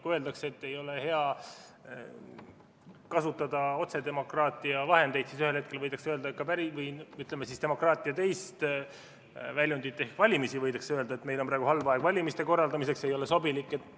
Kui öeldakse, et ei ole hea kasutada otsedemokraatia vahendeid, siis ühel hetkel võidakse öelda, ütleme siis, demokraatia teise väljundi ehk valimiste kohta, et meil on praegu halb aeg valimiste korraldamiseks, ei ole sobilik.